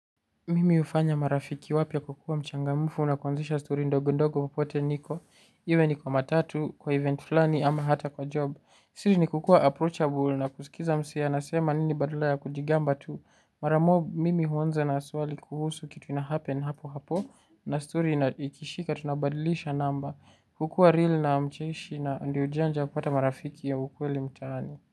Mimi hufanya marafiki wapia kwa kua mchangamufu na kuanzisha story ndogo ndogo popote niko. Iwe ni kwa matatu kwa event fulani ama hata kwa job. Siri ni kukua approachable na kusikiza msee anasema nini badala ya kujigamba tu. Mara mob mimi huanza na swali kuhusu kitu ina happen hapo hapo na story na ikishika tunabadilisha namba. Kukua real na mcheshi na ndio njia ya kupata marafiki ya ukweli mtani.